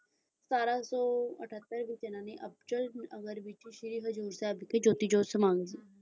ਸਤਾਰਾਂ ਸੌ ਅਠੱਤਰ ਵਿੱਚ ਇਹਨਾਂ ਨੇ ਅਬਚਲ ਨਗਰ ਵਿੱਚ ਸ਼੍ਰੀ ਹਜ਼ੂਰ ਸਾਹਿਬ ਵਿਖੇ ਜੋਤੀ ਜੋਤਿ ਸਮਾ ਗਏ।